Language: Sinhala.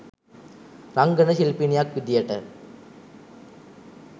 රංගන ශිල්පිනියක් විදිහට